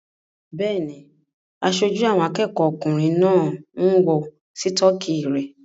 Bẹ́ẹ̀ni, aṣojú àwọn akẹ́kọ̀ọ́ náà okùnrin náà ń wọ sítọ́kì rẹ̀